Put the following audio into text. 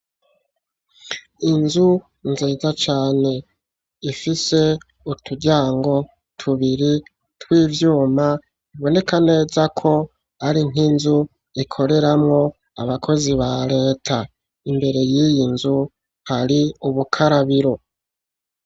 Inzu, nziza cane, ifise uturyango tubiri, tw'ivyuma; iboneka neza ko, ari nk'inzu ikoreramwo, abakozi ba leta; imbere y'iyi nzu, hari ubukarabiro.